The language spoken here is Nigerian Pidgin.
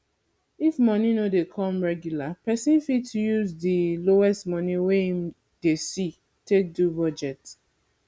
if money no dey come regular person fit use di lowest money wey im dey see take do budget